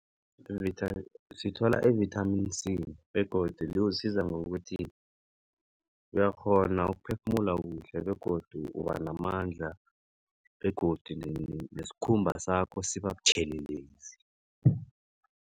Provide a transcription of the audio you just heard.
Sithola i-vithamini C begodu liwusiza ngokuthi uyakghona ukuphefumula kuhle begodu ubanamandla begodu nesikhumba sakho siba butjhelelezi.